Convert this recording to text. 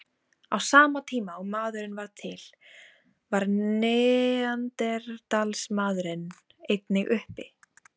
Á sama tíma og maðurinn varð til var neanderdalsmaðurinn einnig uppi.